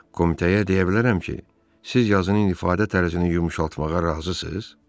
Komitəyə deyə bilərəm ki, siz yazının ifadə tərzini yumşaltmağa razısınız?